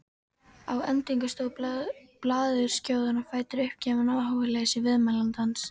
Að endingu stóð blaðurskjóðan á fætur, uppgefin á áhugaleysi viðmælandans.